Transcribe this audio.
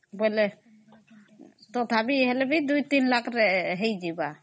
ବେଲେ ଅମ୍ତଥାପି Two Three Lakh ରେ ହେଇଯିବ